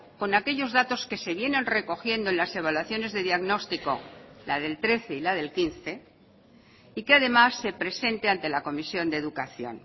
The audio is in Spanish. con aquellos datos que se vienen recogiendo en las evaluaciones de diagnóstico la del trece y la del quince y que además se presente ante la comisión de educación